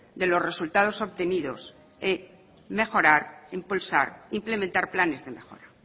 de los resultados obtenidos y mejorar impulsar implementar planes de mejora